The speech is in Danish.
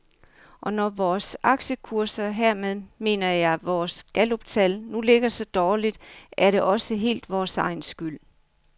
Og når vores aktiekurser, hermed mener jeg vores galluptal, nu ligger så dårligt, er det også helt vores egen skyld.